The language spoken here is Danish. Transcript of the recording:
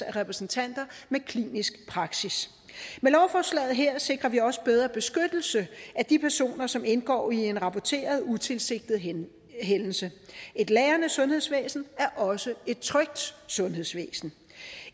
repræsentanter med klinisk praksis med lovforslaget her sikrer vi også bedre beskyttelse af de personer som indgår i en rapporteret utilsigtet hændelse et lærende sundhedsvæsen er også et trygt sundhedsvæsen